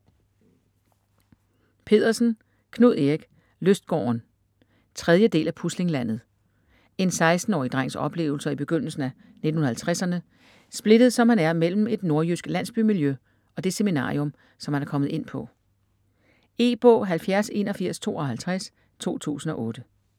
Pedersen, Knud Erik: Lystgården 3. del af Puslinglandet. En 16-årig drengs oplevelser i begyndelsen af 1950'erne, splittet som han er mellem et nordjysk landsbymiljø og det seminarium, som han er kommet ind på. E-bog 708152 2008.